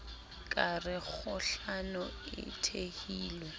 ka re kgohlano e thehilwe